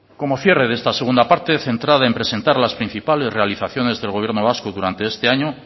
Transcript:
como cierre de esta segunda parte centrada en presentar las principales realizaciones del gobierno vasco durante este año